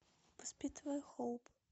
воспитывая хоуп